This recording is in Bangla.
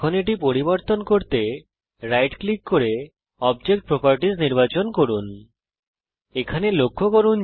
এখন রাইট ক্লিক করে এবং বস্তুর বৈশিষ্ট্যাবলী নির্বাচন করে এটি পরিবর্তন করুন